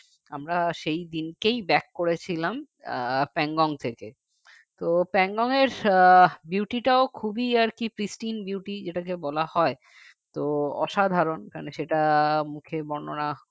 আমরা সেই দিনকেই back করেছিলাম আহ Pangong থেকে তো Pangong এর আহ beauty টাও খুবই আরকি pristine beauty যেটাকে বলা হয় তো অসাধারণ কারণ সেটা মুখে বর্ণনা